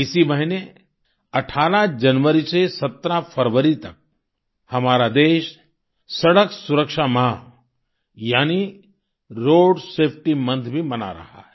इसी महीने 18 जनवरी से 17 फरवरी तक हमारा देश सड़क सुरक्षा माह यानि रोड सेफटी मोंथ भी मना रहा है